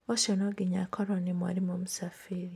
ũcio no nginya akorwo nĩ mwarimũ Msafiri